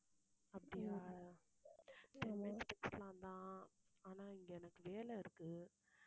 அப்படியா பேசலாம் தான் ஆனா, இங்க எனக்கு வேலை இருக்கு